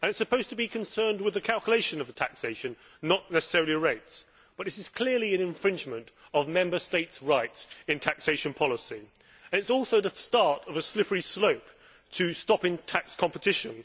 It is supposed to be concerned with the calculation of taxation, not necessarily the rates, but this is clearly an infringement of Member States' rights in taxation policy and also the start of a slippery slope to stopping tax competition.